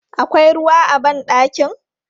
Akwai ruwa a ban ɗakin?